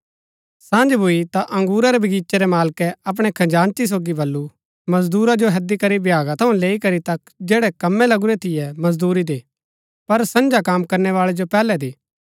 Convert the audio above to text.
सँझ भूई ता बगीचे रै मालकै अपणै खजांची सोगी बल्लू मजदूरा जो हैदी करी भ्यागा थऊँ लैई करी तक जैड़ै कमै लगुरै थियै मजदूरी दे पर संझा कम करनैवाळै जो पैहलै दे